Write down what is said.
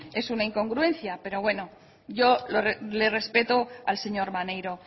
es una incongruencia pero bueno yo le respeto al señor maneiro